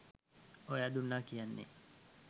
ඔයා දුන්නා කියන්නේ